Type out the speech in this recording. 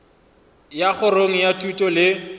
ya kgorong ya thuto le